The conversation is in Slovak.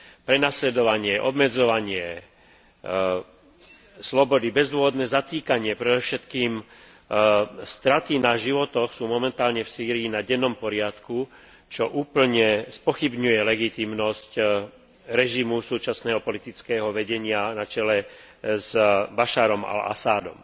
Prenasledovanie, obmedzovanie slobody, bezdôvodné zatýkanie, predovšetkým straty na životoch sú momentálne v Sýrii na dennom poriadku, čo úplne spochybňuje legitímnosť režimu súčasného politického vedenia na čele s Baššárom al Asadom.